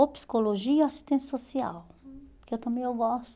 Ou psicologia ou assistência social, que eu também eu gosto.